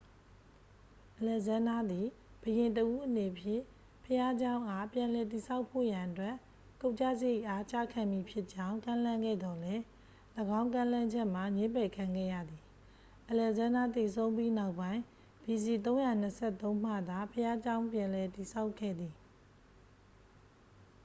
အလက်ဇန်းဒါးသည် ဘုရင်တစ်ဦးအနေဖြင့် ဘုရားကျောင်းအား ပြန်လည်တည်ဆောက်ဖို့ရန်အတွက် ကုန်ကုစရိတ်အား ကျခံမည်ဖြစ်ကြောင်း ကမ်းလှမ်းခဲ့သော်လည်း ၎င်းကမ်းလှမ်းချက်မှာ ငြင်းပယ်ခံခဲ့ရသည် အလက်ဇန်းဒါးသေဆုံးပြီးနောက်ပိုင်း ဘီစီ 323 မှသာ ဘုရားကျောင်းပြန် ပြန်လည်တည်ဆောက်ခဲ့သည်